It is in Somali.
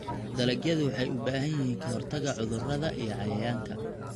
Dalagyadu waxay u baahan yihiin ka-hortagga cudurrada iyo cayayaanka.